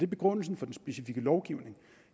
begrundelsen for den specifikke lovgivning